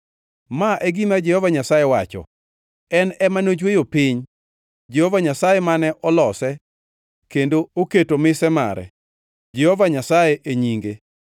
“Ma e gima Jehova Nyasaye wacho, en ema nochweyo piny, Jehova Nyasaye mane olose kendo oketo mise mare, Jehova Nyasaye e nyinge: